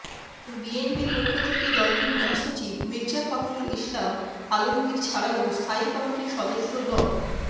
বিএনপির পক্ষ থেকে দলটির মহাসচিব মির্জা ফখরুল ইসলাম আলমগীর ছাড়াও স্থায়ী কমিটির সদস্য ড